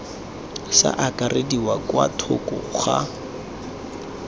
sa akarediwa kwa thoko ga